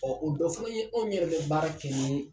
Ɔ o dɔ fɛnɛ ye anw yɛrɛ be baara kɛ ni